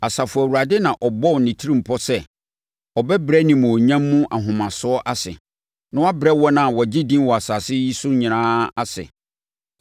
Asafo Awurade na ɔbɔɔ ne tirimpɔ sɛ, ɔbɛbrɛ animuonyam mu ahomasoɔ ase na wabrɛ wɔn a wɔagye din wɔ asase yi so nyinaa ase.